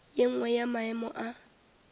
ye nngwe ya maemo a